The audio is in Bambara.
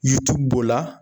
b'o la.